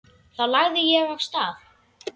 Þá lagði ég af stað.